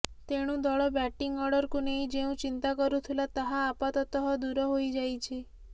ତେଣୁ ଦଳ ବ୍ୟାଟିଂ ଅର୍ଡରକୁ ନେଇ ଯେଉଁ ଚିନ୍ତା କରୁଥିଲା ତାହା ଆପାତତଃ ଦୂର ହୋଇଯାଇଛି